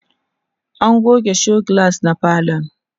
an goge show glass na falon